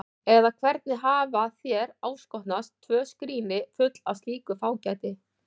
Eða hvernig hafa þér áskotnast tvö skríni full með slíku fágæti?